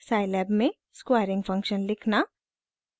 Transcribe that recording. * scilab में squaring function लिखना